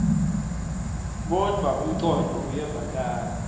kodvwa umcondvo uyevakala